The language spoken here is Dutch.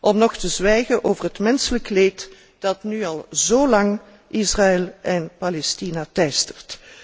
om nog te zwijgen over het menselijk leed dat nu al zo lang Israël en Palestina teistert.